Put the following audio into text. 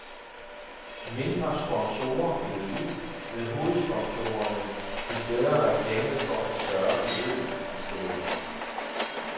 Mindre sponsorer gled ud, men hovedsponsorerne fik bedre reklame for større beløb i stedet.